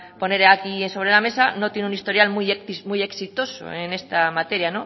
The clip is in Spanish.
poner aquí sobre la mesa no tiene un historial muy exitoso en esta materia